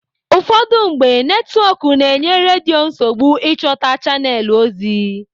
Ụfọdụ mgbe, netwọk na-enye redio nsogbu ịchọta chanelụ ozi.